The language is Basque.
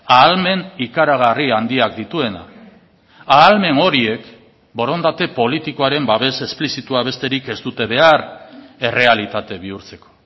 ahalmen ikaragarri handiak dituena ahalmen horiek borondate politikoaren babes esplizitua besterik ez dute behar errealitate bihurtzeko